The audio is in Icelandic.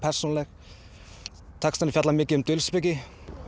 textarnir fjalla mikið um dulspeki